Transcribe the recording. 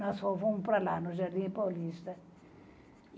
Nós só fomos para lá, no Jardim Paulista.